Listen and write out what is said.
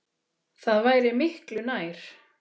Það væri miklu nær.